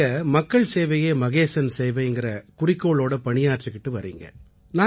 நீங்க மக்கள் சேவையே மகேசன் சேவைங்கற குறிக்கோளோட பணியாற்றிக்கிட்டு வர்றீங்க